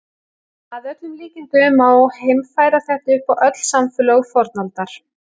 Að öllum líkindum má heimfæra þetta upp á öll samfélög fornaldar.